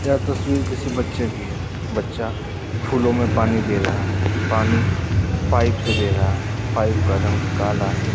यह तस्वीर किसी बच्चे की है बच्चा फूलों में पानी दे रहा है पानी पाइप से दे रहा है पाइप का रंग काला है।